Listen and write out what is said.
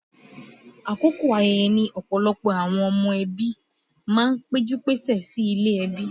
Àkókò ayẹyẹ ní ọ̀pọ̀lọpọ̀ àwọn ọmọ ẹbí máa ń pẹ́jú-péṣẹ̀ sí ilé ẹbí